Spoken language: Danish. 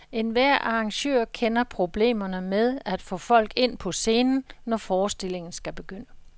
Enhver arrangør kender problemerne med at få folk ind på scenen, når forestillingen skal begynde.